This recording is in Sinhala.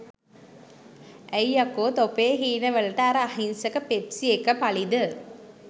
ඇයි යකෝ තොපේ හීන වලට අර අහිංසක පෙප්සි එක පලිද?